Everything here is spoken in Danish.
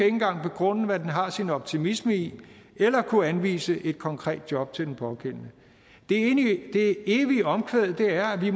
engang begrunde hvad den har sin optimisme i eller kunne anvise et konkret job til den pågældende det evige omkvæd er at vi